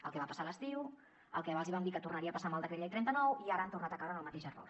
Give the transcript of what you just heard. el que va passar a l’estiu el que els vam dir que tornaria a passar amb el decret llei trenta nou i ara han tornat a caure en el mateix error